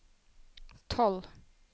tolv